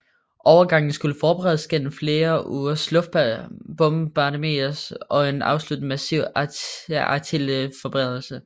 Overgangen skulle forberedes gennem flere ugers luftbombardementer og en afsluttende massiv artilleriforberedelse